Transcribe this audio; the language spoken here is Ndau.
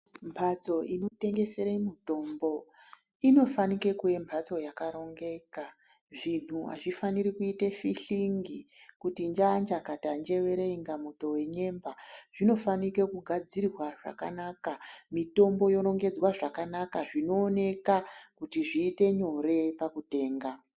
Mhatso inotengesere mitombo inofanike kunge mhatso yakarongeka zvinhu hazvifaniri kuite fihlingi kuti njaa-njakata -njewere inga muto wenyemba zvinofanike kugadzirwa zvakanaka mitombo yorongedzwa zvakanaka zvinooneka kuti zviite nyore pakutenga.